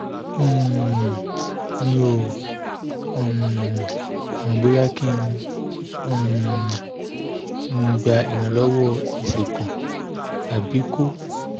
um mi ò um mọ̀ bóyá kí um n gba ìrànlọ́wọ́ ìṣègùn tàbí kò